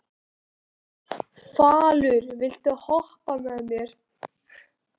Falur, viltu hoppa með mér?